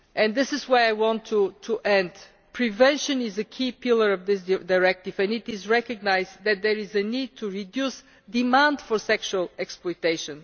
This is where I want to end. Prevention is a key pillar of this directive, and it is recognised that there is a need to reduce demand for sexual exploitation.